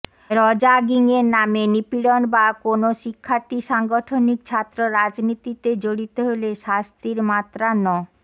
র্যাগিংয়ের নামে নিপীড়ন বা কোনো শিক্ষার্থী সাংগঠনিক ছাত্র রাজনীতিতে জড়িত হলে শাস্তির মাত্রা ন